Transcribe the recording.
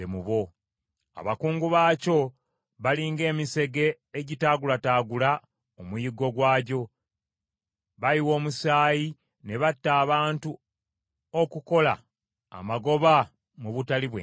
Abakungu baakyo bali ng’emisege egitaagulataagula omuyiggo gwagyo; bayiwa omusaayi ne batta abantu okukola amagoba mu butali bwenkanya.